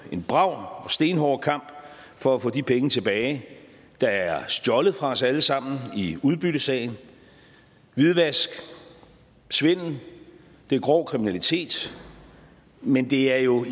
en brav stenhård kamp for at få de penge tilbage der er stjålet fra os alle sammen i udbyttesagen hvidvask svindel er grov kriminalitet men det er jo